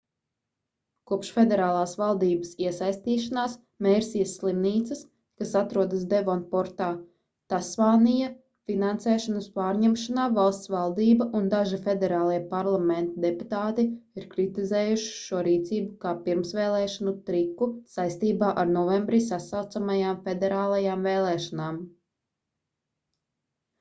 kopš federālās valdības iesaistīšanās mērsijas slimnīcas kas atrodas devonportā tasmānija finansēšanas pārņemšanā valsts valdība un daži federālie parlamenta deputāti ir kritizējuši šo rīcību kā pirmsvēlēšanu triku saistībā ar novembrī sasaucamajām federālajām vēlēšanām